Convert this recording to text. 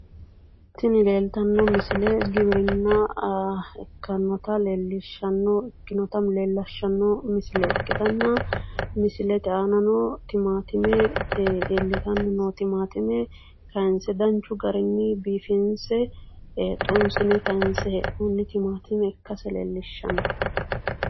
Tini leeltanno misile giwirinna ikkinota leellishshannota ikkitanna misilete aana timaatime iillitanni noo timaatime kaayinse danchu garinni biifinse xunsine kaayinse hee'noonita timaatimen ikkase leellishshanno